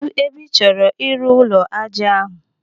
Kedụ ebe ị chọrọ ịrụ ụlọ ájá ahụ?